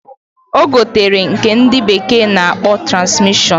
Ogotere nke ndi bekee na akpo Transmission.